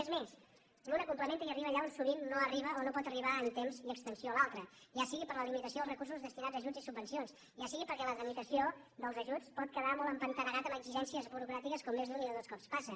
és més una complementa i arriba allà on sovint no arriba o no pot arribar en temps i extensió l’altra ja sigui per la limitació dels recursos destinats a ajuts i subvencions ja sigui perquè la tramitació dels ajuts pot quedar molt empantanegat amb exigències burocràtiques com més d’un i de dos cop passa